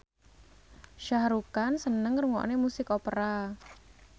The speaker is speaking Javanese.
Shah Rukh Khan seneng ngrungokne musik opera